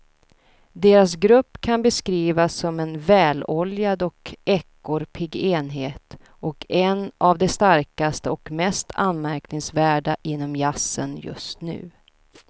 Deras grupp kan beskrivas som en väloljad och ekorrpigg enhet och en av de starkaste och mest anmärkningsvärda inom jazzen just nu.